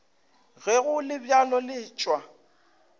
ge go le bjalo letšwa